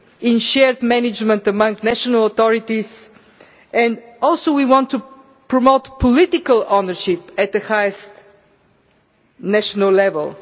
in shared management among national authorities and also we want to promote political ownership at the highest national level